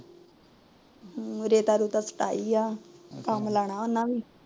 ਰੇਤਾ ਰੁਤਾ ਸਟਾਈ ਐ ਕੱਮ ਲਾਣਾ ਉੰਨਾ ਵੀ